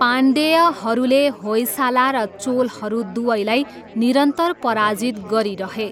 पाण्डेयहरूले होयसाला र चोलहरू दुवैलाई निरन्तर पराजित गरिरहे।